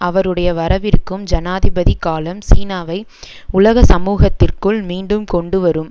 அவருடைய வரவிருக்கும் ஜனாதிபதிக் காலம் சீனாவை உலக சமூகத்திற்குள் மீண்டும் கொண்டுவரும்